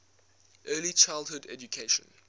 early childhood education